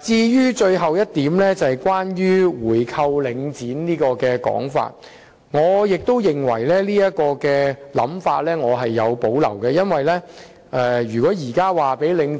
至於最後一點是關於購回領展的說法。對於這種想法，我亦是有所保留的，因為如果現在告訴領